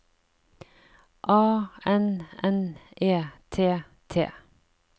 A N N E T T